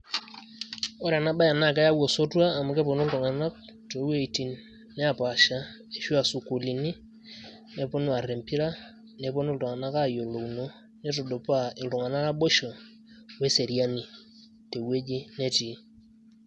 ore ena bae naa keyau osotua, amu kepuonu iltunganak too wuejitin neepaasha, ashu aa sukuulini, nepuonu aar empira, nepuonu iltung'anak aayiolouno. neitudupaa iltung'anak naboisho we seriani te wueji netii.